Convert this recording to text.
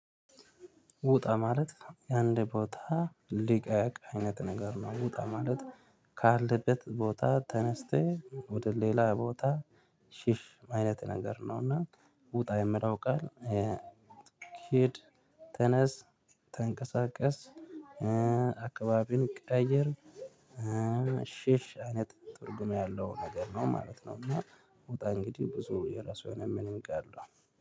ውጣ ማለት የአንድ ቦታ ሊቀቅ አይነት ነገር ነው ውጣ ማለት ካለበት ቦታ ተነስተህ ወደ ሌላ ቦታ ሽሽ አይነት ነገር ነውና። ውጣ የምሊው ቃል። ሂድ ተነስ ተንቀሳቀስ አካባቢን ቀየር። ሽሽ አይነት ትርጉም ያለው ነገር ነው ማለት ነው። እና ውጣ እንግዲህ ብዙ የራሱ የሆነ ምንንግ አለው